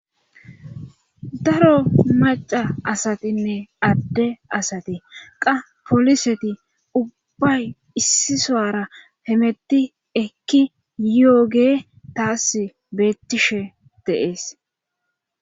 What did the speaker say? daro maca asatinne adde asati qa poliseti ubbay issi soara hemetti ekki yooge taas beettishe deees